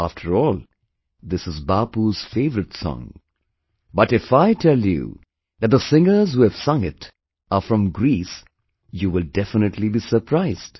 After all, this is Bapu'sfavorite song, but if I tell you that the singers who have sung it are from Greece, you will definitely be surprised